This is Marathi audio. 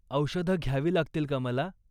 औषधं घ्यावी लागतील का मला?